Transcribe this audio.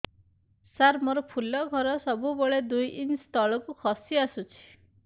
ସାର ମୋର ଫୁଲ ଘର ସବୁ ବେଳେ ଦୁଇ ଇଞ୍ଚ ତଳକୁ ଖସି ଆସିଛି